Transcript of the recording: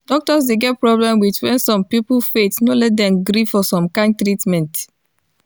doctors dey get problem with when some people faith no let dem gree for some kind treatment.